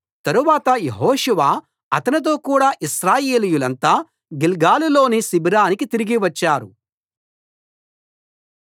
తరువాత యెహోషువ అతనితో కూడా ఇశ్రాయేలీయులంతా గిల్గాలులోని శిబిరానికి తిరిగి వచ్చారు